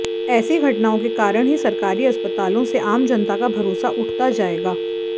ऐसी घटनाओं के कारण ही सरकारी अस्पतालों से आम जनता का भरोसा उठता जाएगा